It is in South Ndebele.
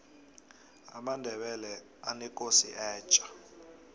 amandebele anekosi etja